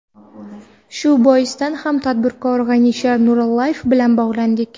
Shu boisdan ham tadbirkor G‘anisher Nurillayev bilan bog‘landik.